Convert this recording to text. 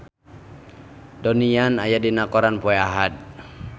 Donnie Yan aya dina koran poe Ahad